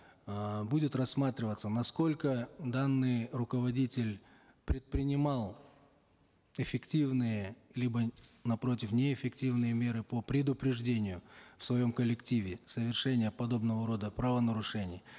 эээ будет рассматриваться насколько данный руководитель предпринимал эффективные либо напротив неэффективные меры по предупреждению в своем коллективе совершения подобного рода правонарушений